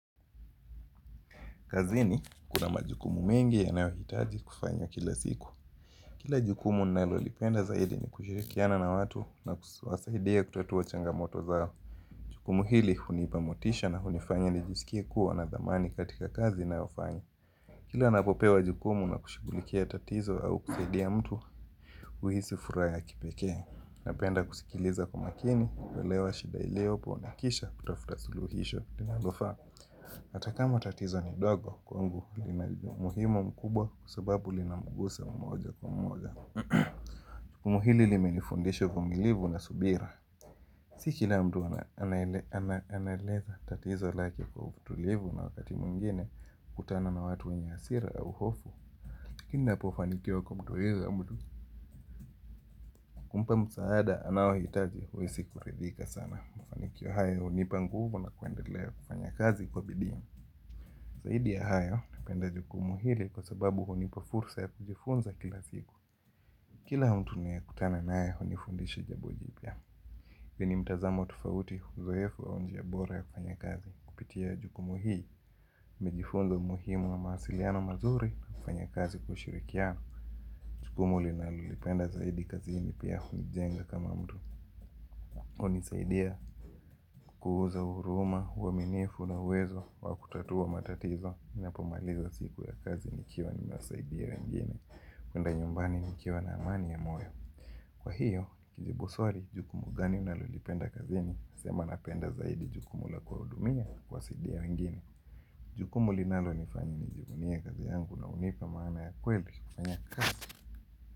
Kazini, kuna majukumu mengi yanayohitaji kufanywa kila siku. Kila jukumu nalolipenda zaidi ni kushirikiana na watu na kuwasaidia kutatua changamoto zao. Jukumu hili hunipa motisha na hunifanya ni jisikie kuwa na thamani katika kazi nayofanya. Kila napopewa jukumu na kushughulikia tatizo au kusaidia mtu huisi furaha ya kipekee. Napenda kusikiliza kwa makini, kuelewa shida iliyopo na kisha kutafuta suluhisho linalofaa, hata kama tatizo ni dogo kwangu lina umuhimu mkubwa kwa sababu linamugusa mmoja kwa mmoja. Somo hili limenifundisha vumilivu na subira. Si kila mtu anaeleza tatizo lake kwa utulivu na wakati mwingene, hukutana na watu wenye hasira au hofu lakini napofanikiwa kumtuliza mtu, kumpa msaada anaohitaji huisi kuridhika sana. Mfanikio haya hunipa nguvu na kuendelea kufanya kazi kwa bidii. Zaidi ya hayo, napenda jukumu hili kwa sababu honipa fursa ya kujifunza kila siku. Kila mtu ninaye kutana naye, hunifundisha jambo jipya. Vyenye mtazamo tufauti, uzoefu au njia bora ya kufanya kazi. Kupitia jukumu hii, nimejifunza muhimu wa mawasiliano mazuri, na kufanya kazi kwa ushirikiano. Jukumu nalolipenda zaidi kazini pia kunijenga kama mtu. Hunisaidia kuuza huruma, huaminifu na uwezo wa kutatua matatizo ninapomaliza siku ya kazi nikiwa nimewasaidia wengine. Kwenda nyumbani nikiwa na amani ya moyo. Kwa hiyo, nikijibu swali jukumu gani unalolipenda kazini? Sema napenda zaidi jukumu la kuwahudumia kuwasaidia wengine. Jukumu linalo nifanya nijivunie kazi yangu na hunipa maana ya kweli kufanya kazi.